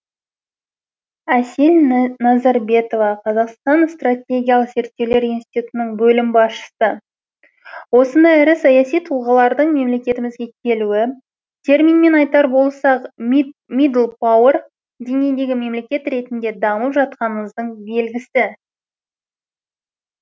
әсел назарбетова қазақстан стратегиялық зерттеулер институтының бөлім басшысы осындай ірі саяси тұлғалардың мемлекетімізге келуі терминмен айтар болсақ мидлпауер деңгейіндегі мемлекет ретінде дамып жатқанымыздың белгісі